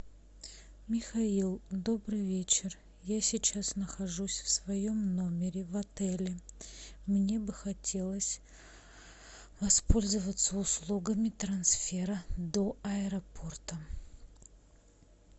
михаил добрый вечер я сейчас нахожусь в своем номере в отеле мне бы хотелось воспользоваться услугами трансфера до аэропорта